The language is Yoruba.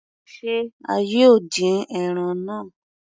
Se a yóò dín ẹran náà?